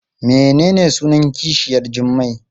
Menene sunan kishiyar Jummai?